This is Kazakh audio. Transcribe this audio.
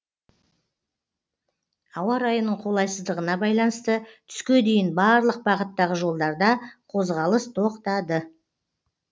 ауа райының қолайсыздығына байланысты түске дейін барлық бағыттағы жолдарда қозғалыс тоқтады